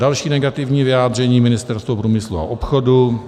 Další negativní vyjádření, Ministerstvo průmyslu a obchodu.